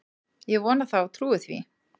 Ég vona það og trúi því